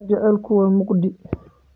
Jacaylku waa mugdi